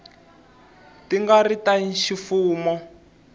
ti nga ri ta ximfumo